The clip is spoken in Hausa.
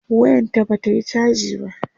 wayan ta Bata Yi chaji ba